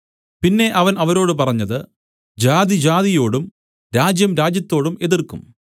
പിന്നെ അവൻ അവരോട് പറഞ്ഞത് ജാതി ജാതിയോടും രാജ്യം രാജ്യത്തോടും എതിർക്കും